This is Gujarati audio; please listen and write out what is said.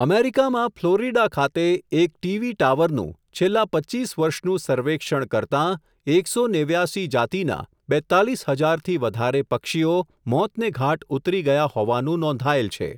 અમેરિકામાં ફલોરિડા ખાતે, એક ટીવી ટાવરનું, છેલ્લા પચ્ચીસ વર્ષનું સર્વેક્ષણ કરતાં, એક સો નેવ્યાસી જાતિના, બેતાલીસ હજાર થી વધારે પક્ષીઓ, મોતને ઘાટ ઉતરી ગયા હોવાનું નોંધાયેલ છે.